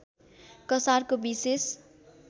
कसारको विशेष